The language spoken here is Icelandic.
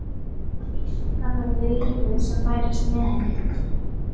Hvísl hennar við lífið sem bærist með henni.